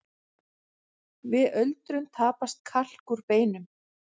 Við öldrun tapast kalk úr beinum.